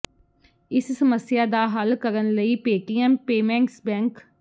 ਇਸ ਸਮੱਸਿਆ ਦਾ ਹੱਲ ਕਰਨ ਲਈ ਪੇਟੀਐਮ ਪੇਮੇਂਟਸ ਬੈਂਕ